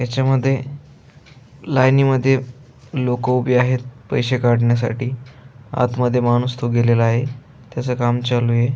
याच्या मध्ये लाइनी मध्ये लोक उभी आहेत पैसे काढण्यासाठी आत मध्ये माणुस तो गेलेला आहे त्याच काम चालूय.